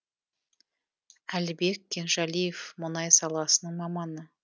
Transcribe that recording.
әлібек кенжалиев мұнай саласының маманы